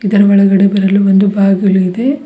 ಇದರ ಒಳಗಡೆ ಬರಲು ಒಂದು ಬಾಗಿಲು ಇದೆ.